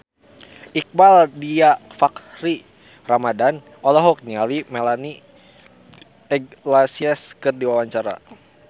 Iqbaal Dhiafakhri Ramadhan olohok ningali Melanie Iglesias keur diwawancara